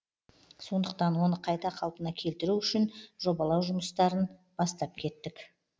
сондықтан оны қайта қалпына келтіру үшін жобалау жұмыстарын бастап кеттік